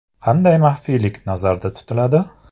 Qanday maxfiylik nazarda tutiladi?